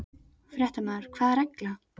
Fréttamaður: Hvaða regla?